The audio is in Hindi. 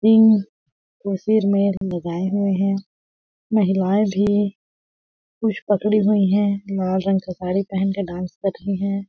सींग को सिर में लगाए हुए है महिलाएं भी कुछ पकड़ी हुई है लाल रंग का साड़ी पहेन के डांस कर रही है।